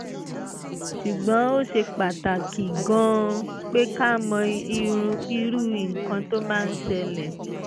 ṣùgbọ́n ó ṣe pàtàkì gan-an pé ká mọ irú nǹkan tó máa ń ṣẹlẹ̀